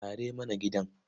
Share mana gidan.